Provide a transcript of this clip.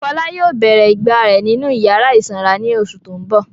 Fọlá yóò bèrè ìgbà rẹ̀ nínú ìyàrá ìsanra ní oṣù tó ń bọ̀.